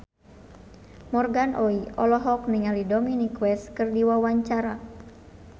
Morgan Oey olohok ningali Dominic West keur diwawancara